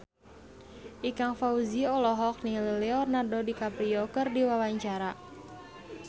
Ikang Fawzi olohok ningali Leonardo DiCaprio keur diwawancara